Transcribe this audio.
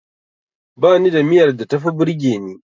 Bani da miyar da tafi burgeni.